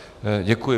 Děkuji.